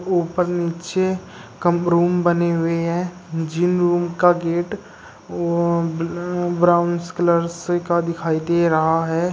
ऊपर नीचे कम रूम बने हुए हैं जिन रूम का गेट वोअ ब्राउंस कलर का दिखाई दे रहा है।